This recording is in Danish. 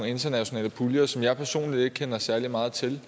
internationale puljer som jeg personligt ikke kender særlig meget til